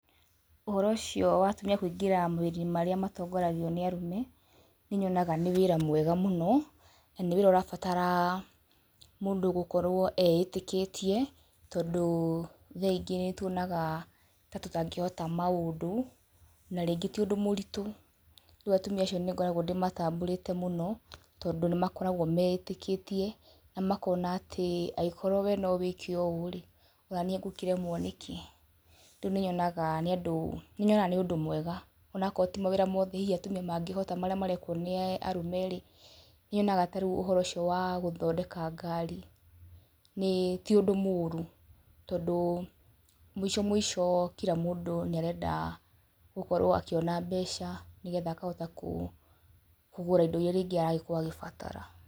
ũhoro ũcio wa atumia kũingĩra mawĩra-inĩ marĩa matongoragio nĩ arũme, nĩ nyonaga nĩ wĩra mwega mũno, na nĩ wĩra ũrabatara mũndũ gũkorwo eĩtĩkĩtie, tondũ thaa ingĩ nĩ tuonaga ta tũtangĩhota maũndũ, na rĩngĩ ti ũndũ mũritũ, rĩu atumia acio nĩ ngoragwo ndĩmatambũrĩte mũno, tondũ nĩ makoragwo meĩtĩkĩtie na makona atĩ angĩkorwo we nowĩke ũũ rĩ, o naniĩ ngũkĩremwo nĩkĩ, rĩu nĩ nyonaga nĩ andũ nĩ nyonaga nĩ ũndũ mwega, onokorwo ti mawĩra mothe hihi atumia mangĩhota marĩa marekwo nĩ arũmerĩ, nĩ nyonaga tarĩu ũhoro ũcio wagũthondeka ngari, nĩ tiũndũ mũru, tondũ mũicomũico kila mũndũ nĩ arenda gũkorwo akĩona mbeca, nĩgetha akahota kũgũra indo iria rĩngĩ aragĩkorwo agĩbatara.